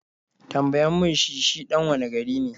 Tambayan mi shi shi ɗan wane gari ne?